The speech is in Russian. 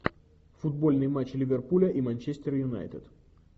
футбольный матч ливерпуля и манчестер юнайтед